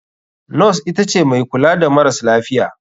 Nos itace mai kula da maras lafiya.